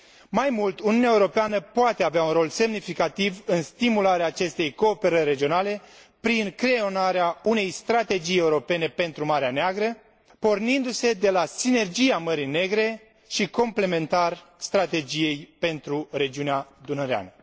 Mai mult, Uniunea Europeană poate avea un rol semnificativ în stimularea acestei cooperări regionale prin creionarea unei Strategii Europene pentru Marea Neagră, pornindu se de la Sinergia Mării Negre și complementar Strategiei pentru Regiunea Dunăreană.